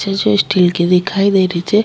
जो स्टील की दिखाई दे री छे।